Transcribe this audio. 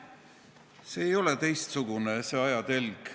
See ei ole teistsugune, see ajatelg.